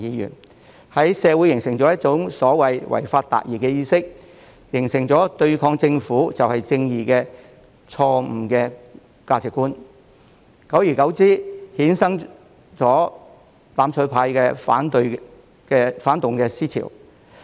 他們在社會形成一種所謂"違法達義"的意識，形成對抗政府就是正義的錯誤價值觀，久而久之便衍生"攬炒派"的反動思潮。